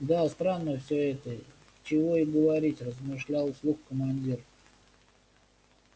да странно всё это чего и говорить размышлял вслух командир